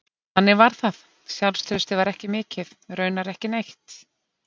Þannig var það, sjálfstraustið var ekki mikið, raunar ekki neitt.